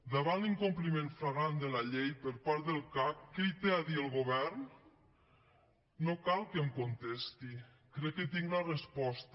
davant de l’incompliment flagrant de la llei per part del cac què hi té a dir el govern no cal que em contesti crec que tinc la resposta